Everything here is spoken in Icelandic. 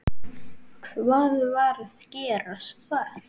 Hvað var að gerast þar?